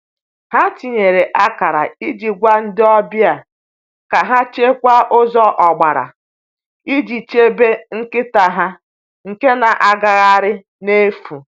Ha tinyere akara iji gwa ndị ọbịa ka ha chekwaa ụzọ ọgbara iji chebe nkịta ha nke na-agagharị n’efu.